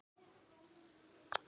Opinber Vídeó